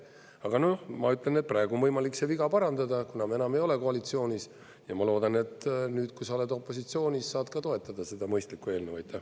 Aga ma ütlen, et praegu on võimalik see viga parandada, kuna enam ei ole koalitsioonis, ja ma loodan, et nüüd, kui sa oled opositsioonis, saad ka toetada seda mõistlikku eelnõu.